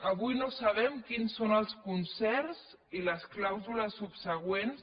avui no sabem quins són els concerts ni les clàusules subsegüents